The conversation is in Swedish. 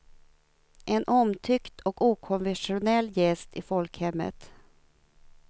En omtyckt och okontroversiell gäst i folkhemmet.